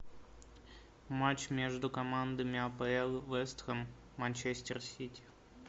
матч между командами апл вест хэм манчестер сити